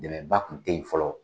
Dɛmɛba kun te ye fɔlɔ